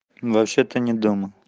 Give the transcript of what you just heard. вообще-то не дома